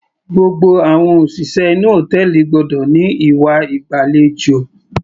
Gbogbo àwọn òṣìṣẹ́ inú hòtẹ́ẹ̀lì gbọ́dọ̀ ní ìwà ìgbàlejò.